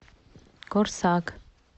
корсак